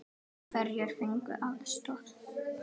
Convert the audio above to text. Hverjir fengu aðstoð?